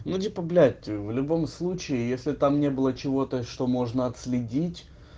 ну типа блять в любом случае если там не было чего-то что можно отследить